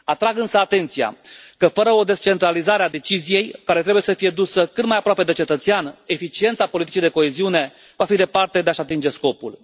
Atrag însă atenția că, fără o descentralizare a deciziei, care trebuie să fie dusă cât mai aproape de cetățean, eficiența politicii de coeziune va fi departe de a și atinge scopul.